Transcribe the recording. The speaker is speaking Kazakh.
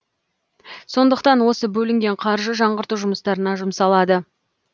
сондықтан осы бөлінген қаржы жаңғырту жұмыстарына жұмсалады